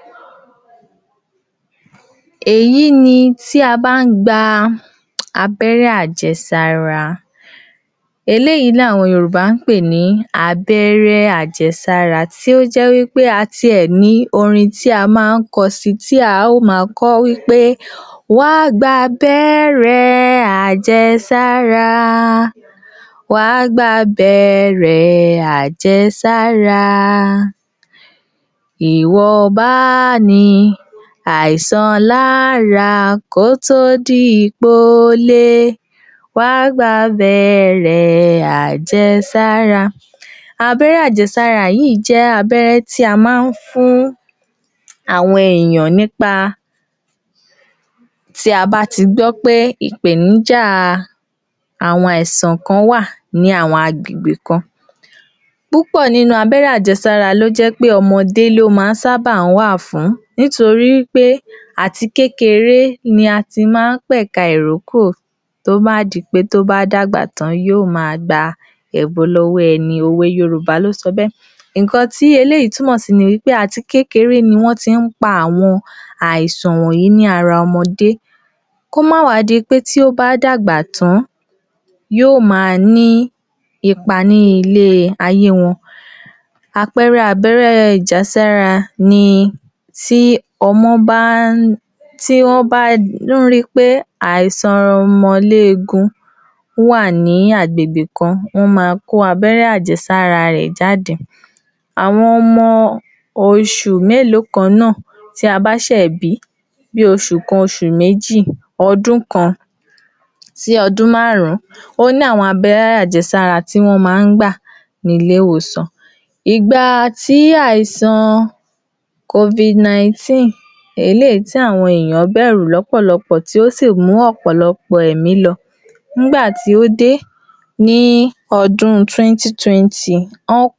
Èyí jé̩ nǹkan tí ó jé̩ ìpèníjà fún ò̩pò̩lo̩pò̩ ènìyàn tí ò ró̩mo̩ bí gé̩gé̩ bíi àìsàn tí ó ń bá wo̩n fínra. E̩lòmíràn wà tó jé̩ pé kò leè lóyún. Ìmínìn sí wà tó jé̩ pé o̩ko̩ rè ni àtò̩ rè ò lè so̩ di o̩ló̩mo̩ so, irú àwo̩n èyàn báyìí, wo̩n gbo̩dò máa wá sí ilé ìwòsàn fún ìtó̩jú. Ó ní àwo̩n ètò tí a ti là kalè̩ fún irú àwo̩n èyàn bé̩è̩. Àti o̩ko̩, àtì ìyàwó, àwo̩n méjééjì ná jo̩ gbo̩- ná gbo̩dò jo̩ máa wá fún ètò ìlera yìí. Àwo̩n dó̩kítà ti ní àwo̩n oògùn tí wo̩n ó fún irú àwo̩n eni bé̩è̩, tí wo̩n ó lo̩ máa lò fún bí ìgbà mélòó kan kí àwo̩n èyàn kí wó̩n fi wo àyípadà tí ó máa mú wá. Ó sì l’áwo̩n oúnje̩ tí wó̩n máa so̩ fún wo̩n pé kí wó̩n máa je̩. Ó ní àwo̩n is̩é̩ tí wá máa fún wo̩n pé kí wó̩n máa s̩e. Elòmíràn wó̩n ma so̩ fun pé kò gbo̩dò̩ s̩is̩é̩ tí ó l’ágbára ní fún àwo̩n àkókò kan kí ó máa je̩un gidi kí ó máa je̩un tó máa sara lóore kí ó máa s̩e ìdárayá lé̩è kò̩ò̩kan ní eléyí tí ò pa ni lára kí ó sì máa sinmi, kí ó sì fo̩kàn rè̩ balè̩, nítorí gbogbo àwo̩n ò̩pò̩lo̩pò̩ àwo̩n tí irú ǹkan báyìí bá ń bá fínra wo̩n ò kìí fi’ra wo̩n ló̩kàn balè̩. Lóotó̩, kò ń s̩e pé àwo̩n náà fi’ra wo̩n ló̩kàn balè̩, àmó̩ò̩ nípa ìdojúko̩ tó ń kojú nílé o̩ko̩ àbí lát’ò̩do̩ ebí àti ará ni kò jé̩ kí o̩kàn wo̩n ó léè balè̩ S̩ùgbó̩n-ò̩n, ní ilé-ìwòsàn, a. máa wí fún wo̩n pé kí wo̩n fi o̩kàn ara wo̩n balè̩ nítorí pé O̩ló̩run ní ń s̩omo̩ Àwa dó̩kítà kàn ń gbìyànjú ni Two, wó̩n máa fún wo̩n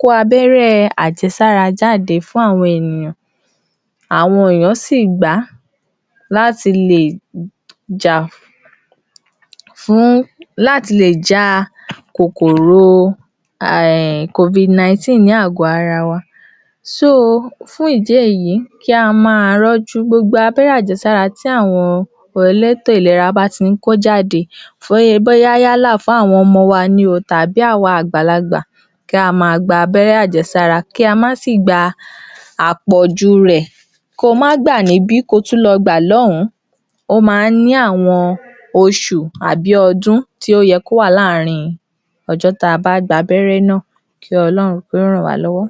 ní òògùn àti eléyìí tó bá nílò abé̩ré̩ láti lè jé̩ kí ó s̩is̩é̩. Ó ní oye gbèǹdéke ìgbà tí wó̩n máa ló dà tí dókíta máa rí pé àyípadà wà. O̩ló̩run ò ní jé̩ á rí ìpèníjà àìró̩mo̩bí.